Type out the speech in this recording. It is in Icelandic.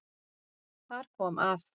Þar kom að